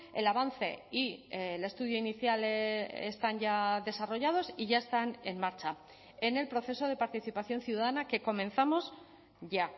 el avance y el estudio inicial están ya desarrollados y ya están en marcha en el proceso de participación ciudadana que comenzamos ya